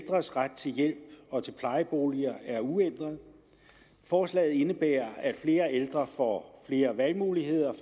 ældres ret til hjælp og til plejeboliger er uændret forslaget indebærer at flere ældre får flere valgmuligheder